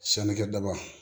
Sanikɛdaba